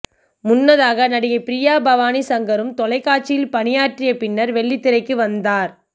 முன்னதாக நடிகை பிரியா பவானி சங்கரும் தொலைக்காட்சியில் பணியாற்றி பின்னர் வெள்ளித்திரைக்கு வந்தார்